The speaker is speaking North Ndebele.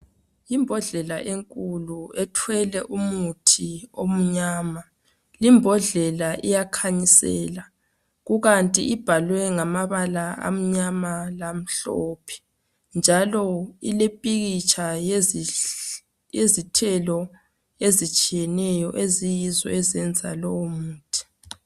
Imbodlela enkulu ethwele umuthi omnyama. Imbodlela iyakhanyisela kukanti ibhalwe ngamabala amnyama lamhlophe, njalo ilepikitsh yezithelo ezitshiyeneyo eziyinzo lowo muthi.